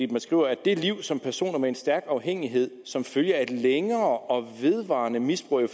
man skriver det liv som personer med en stærk afhængighed som følge af et længere og vedvarende misbrug af